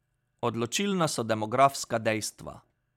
Odločilna so demografska dejstva.